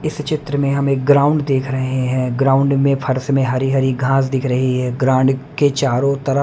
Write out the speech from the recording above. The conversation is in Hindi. इस चित्र में हम एक ग्राउंड देख रहे हैं ग्राउंड में फर्स में हरी-हरी घास दिख रही है ग्राउंड के चारों तरफ--